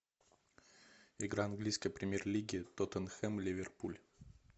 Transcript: игра английской премьер лиги тоттенхэм ливерпуль